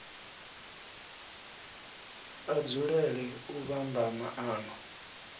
a dzulele u vhamba maano